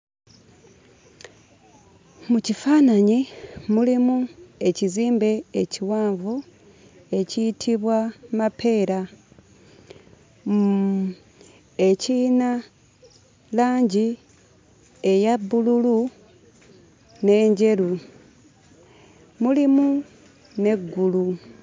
Mu kifaananyi mulimu ekizimbe ekiwanvu ekiyitibwa Mapeera mm ekiyina langi eya bbululu n'enjeru mulimu n'eggulu.